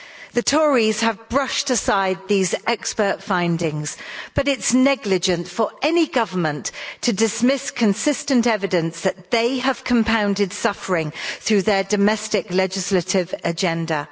The Tories have brushed aside these expert findings, but it's negligent for any government to dismiss consistent evidence that they have compounded suffering through their domestic legislative agenda.